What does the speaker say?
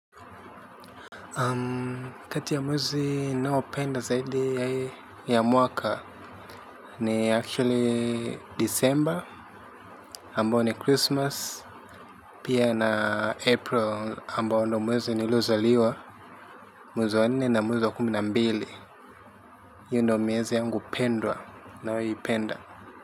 Kati ya mwezi ninaopenda zaidi ya mwaka ni actually December, Ambao ni Krismasi, pia na Aprili, ambao ndio mwezi niliozaliwa, mwezi wa nne na mwezi wa kumi na mbili. Hiyo ndiyo miezi yangu pendwa ninayoipenda.